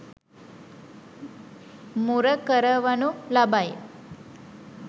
මුර කරවනු ලබයි.